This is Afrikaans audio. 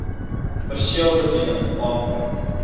perseel bedien aanbring